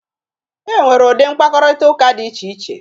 E nwere ụdị mkparịtaụka dị iche iche